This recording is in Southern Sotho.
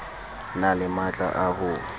na le matla a ho